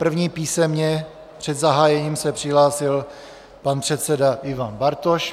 První písemně před zahájením se přihlásil pan předseda Ivan Bartoš.